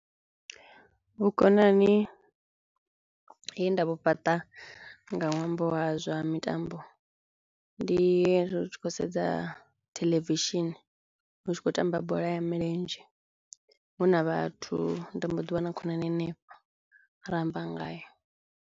Vhukonani he nda vhu fhaṱa nga ṅwambo wa zwa mitambo ndi ri tshi khou sedza theḽevishini hu tshi khou tamba bola ya milenzhe huna vhathu nda mboḓi wana khonani hanefho ra amba ngayo.